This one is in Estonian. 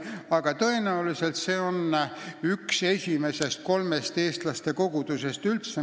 Aga tõenäoliselt oli seal ajalooliselt üldse üks esimesest kolmest eestlaste kogudusest.